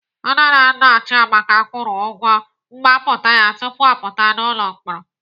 Nne na nna Chiamaka kwụrụ ụgwọ mgbapụta ya tupu ọ pụta n'ụlọ mkpọrọ.